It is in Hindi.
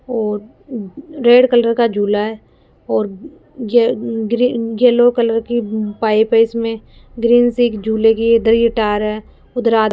और अह रेड कलर का झूला है और ये ग्री येलो कलर की उम्म पाइप है इसमें ग्रीन सी एक झूले की इधर ही टायर है उधर आ --